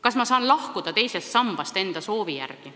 Kas ma saan lahkuda teisest sambast, kui ma seda soovin?